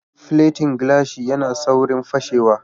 Filetin gilashi ya na saurin fashewa